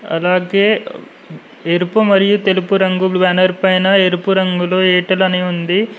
అలాగే ఎరుపు మరియు తెలుపు రంగు బ్యానర్ పైన ఎరుపు రంగులో ఎయిర్టెల్ అని ఉంది.